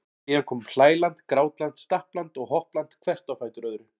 Síðan komu hlæland, grátland, stappland og hoppland hvert á fætur öðru.